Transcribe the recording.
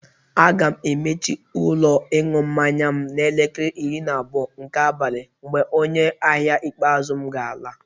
Aga m emechi ụlọ ịñụ mmanya m n'elekere iri na abụọ nke abalị mgbe onye ahịa ikpeazụ m ga-ala.